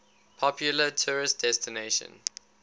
popular tourist destination